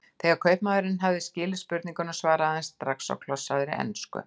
Þegar kaupmaðurinn hafði loks skilið spurninguna svaraði hann strax á klossaðri ensku